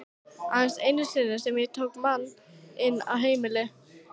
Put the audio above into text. Aðeins einu sinni sem ég tók mann inn á heimil.